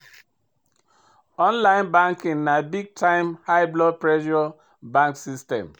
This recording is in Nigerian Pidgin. Online banking na big time high blood pressure bank system.